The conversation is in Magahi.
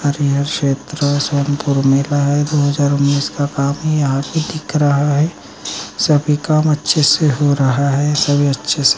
हरिहर क्षेत्र सोनपूर मेला है दो हजार उन्नीस का काफी आदमी यहाँ दिख रहा है सभी काम अच्छे से हो रहा है सभी अच्छे से --